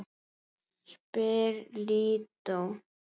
spyr Lídó.